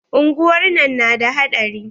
Unguwar nan na da haɗari.